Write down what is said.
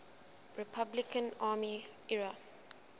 republican army ira